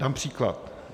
Dám příklad.